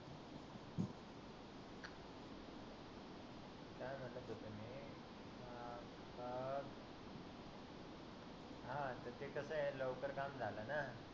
अं ते कस आहे लवकर काम झाल न